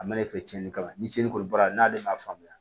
A mana ne fɛ cɛni kama ni tiɲɛni kɔni bɔra n'ale ma faamuya